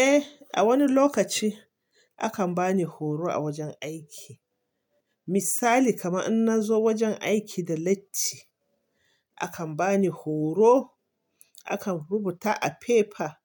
Eh, a wani lokaci akan bani horo a wajen aiki. Misali, kaman in nazo wajen aiki da latti akan bani horo, akan rubuta a fefa